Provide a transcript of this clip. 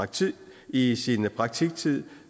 tid i i sin praktiktid